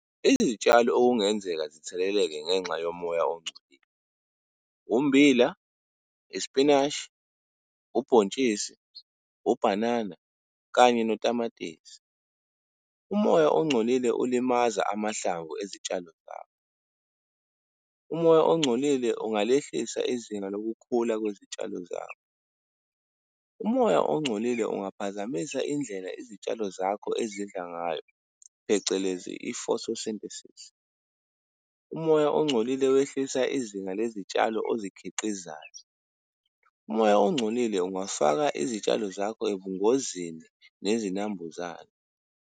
Izitshalo okungenzeka zitheleleke ngenxa yomoya ongcolile, ummbila, isipinashi, ubhontshisi, ubhanana kanye notamatisi. Umoya ongcolile ulimaza amahlangu ezitshalo zakho. Umoya ongcolile ungalehlisa izinga lokukhula kwezitshalo zakho. Umoya ongcolile ungaphazamisa indlela izitshalo zakho ezidla ngayo, phecelezi i-photosynthesis. Umoya ongcolile wehlisa izinga lezitshalo ozikhiqizayo. Umoya ongcolile ungafaka izitshalo zakho ebungozini nezinambuzane.